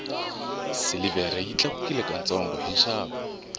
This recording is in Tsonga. silivhere yi tlakukile ka ntsongo hi nxavo